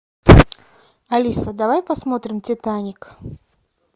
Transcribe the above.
алиса давай посмотрим титаник